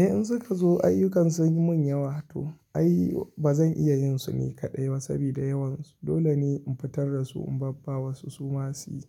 Eh in suka zo ayyukan sun yi mun yawa to ai ba zan iya yin su ne kaɗai saboda yawansu. Dole ne in fitar da su in babba wasu su ma su